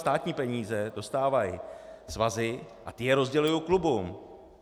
Státní peníze dostávají svazy a ty je rozdělují klubům.